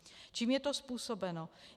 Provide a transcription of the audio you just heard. Čím je to způsobeno?